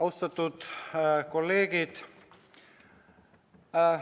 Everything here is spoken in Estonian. Austatud kolleegid!